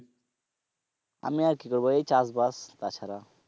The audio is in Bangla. আমি আর কি করবো এই চাষবাস তাছাড়া।